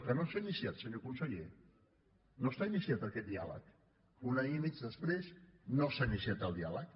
que no s’ha iniciat senyor conseller no està iniciat aquest diàleg un any i mig després no s’ha iniciat el diàleg